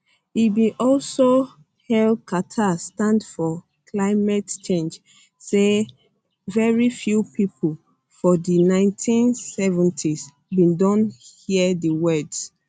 e bin also hail carter stand for climate change say very few pipo for di 1970s bin don hear di words